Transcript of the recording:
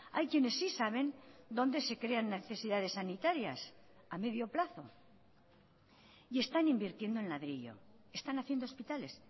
hay quienes sí saben donde se crean necesidades sanitarias a medio plazo y están invirtiendo en ladrillo están haciendo hospitales